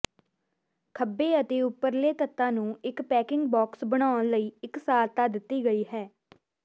ਖੱਬੇ ਅਤੇ ਉੱਪਰਲੇ ਤੱਤਾਂ ਨੂੰ ਇਕ ਪੈਕਿੰਗ ਬਾਕਸ ਬਣਾਉਣ ਲਈ ਇਕਸਾਰਤਾ ਦਿੱਤੀ ਗਈ ਹੈ